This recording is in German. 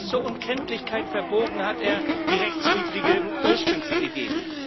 Bis zur Unkenntlichkeit verbogen hat er die rechtswidrige Ursprungsidee.